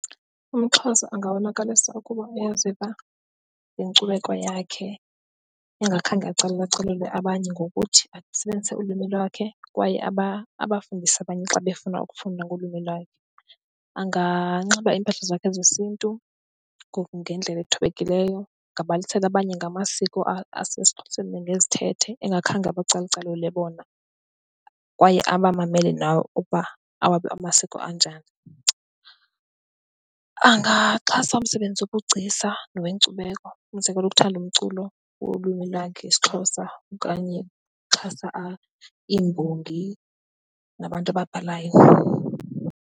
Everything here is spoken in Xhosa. UmXhosa angabonakalisa ukuba uyaziva ngenkcubeko yakhe engakhange acalucalule abanye ngokuthi asebenzise ulwimi lakhe kwaye abafundise abanye xa befuna ukufunda ngolwimi lakhe. Anganxiba iimpahla zakhe zesiNtu ngendlela ezithobekileyo, angabalisela abanye ngamasiko asesiXhoseni nangezithethe engakhange abacalucalule bona kwaye abamamele nabo ukuba awabo amasiko anjani. Angaxhasa umsebenzi wobugcisa nowenkcubeko, umzekelo, ukuthanda umculo wolwimi lakhe isiXhosa okanye oxhasa iimbongi nabantu ababhalayo.